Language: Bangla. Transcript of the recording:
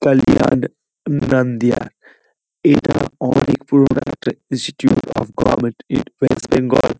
কালিয়ান্দ নান্দিয় এটা অনেক পুরোনো একটা institute of government in West Bengal.